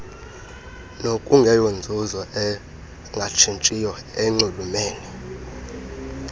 nokungeyonzuzo engatshitshiyo nenxulumene